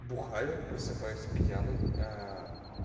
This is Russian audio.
бухаю просыпаюсь пьяный аа